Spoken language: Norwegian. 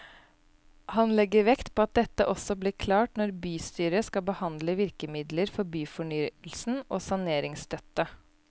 Han legger vekt på at dette også blir klart når bystyret skal behandle virkemidler for byfornyelsen og saneringsstøtte.